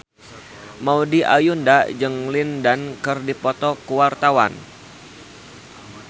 Maudy Ayunda jeung Lin Dan keur dipoto ku wartawan